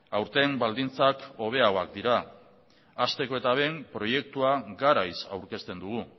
aurten baldintzak hobeagoak dira hasteko eta behin proiektua garaiz aurkezten dugu